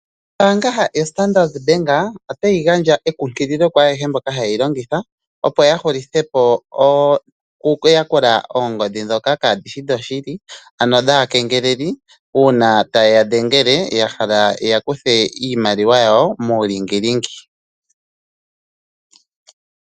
Ombaanga yoStandard bank otayi gandja ekunkililo kwaayehe mboka haye yi longitha opo yahulithe po okuyakula oongodhi ndhoka kaadhishi dhoshili, ano dhaakengeleli uuna taye ya dhengele yahala yeya kuthe iimaliwa yawo muulingilingi.